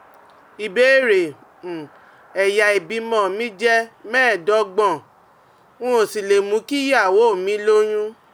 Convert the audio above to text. Ìbéèrè: um Ẹ̀yà ìbímọ mi jẹ́ mẹ́ẹ̀ẹ́dọ́gbọ̀n, mi um ò sì lè mú kí ìyàwó mi lóyún